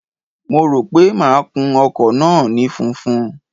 Mo rò pé máa kun ọkọ̀ náà ní funfun.